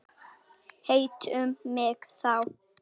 Hittu mig þá.